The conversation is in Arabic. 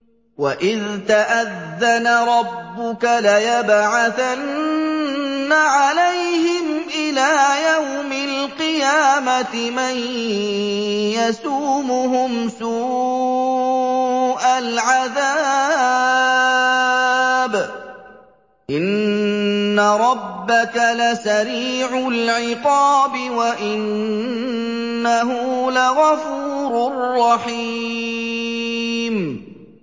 وَإِذْ تَأَذَّنَ رَبُّكَ لَيَبْعَثَنَّ عَلَيْهِمْ إِلَىٰ يَوْمِ الْقِيَامَةِ مَن يَسُومُهُمْ سُوءَ الْعَذَابِ ۗ إِنَّ رَبَّكَ لَسَرِيعُ الْعِقَابِ ۖ وَإِنَّهُ لَغَفُورٌ رَّحِيمٌ